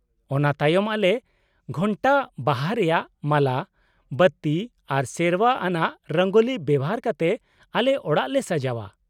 -ᱚᱱᱟ ᱛᱟᱭᱚᱢ ᱟᱞᱮ ᱜᱷᱚᱱᱴᱟ, ᱵᱟᱦᱟ ᱨᱮᱭᱟᱜ ᱢᱟᱞᱟ, ᱵᱟᱹᱛᱤ ᱟᱨ ᱥᱮᱨᱣᱟ ᱟᱱᱟᱜ ᱨᱚᱝᱜᱳᱞᱤ ᱵᱮᱣᱦᱟᱨ ᱠᱟᱛᱮ ᱟᱞᱮ ᱚᱲᱟᱜ ᱞᱮ ᱥᱟᱡᱟᱣᱟ ᱾